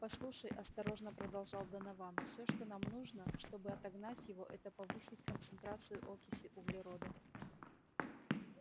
послушай осторожно продолжал донован все что нам нужно чтобы отогнать его это повысить концентрацию окиси углерода